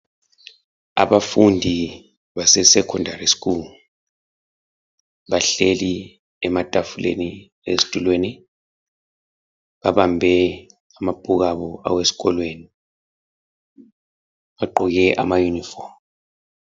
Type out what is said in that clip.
Abafundi base 'secondary school', bahleli ematafuleni ezitulweni. Babambe amabhuku abo awesikolweni, bagqoke amayunifomu.